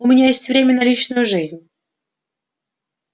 у меня есть время на личную жизнь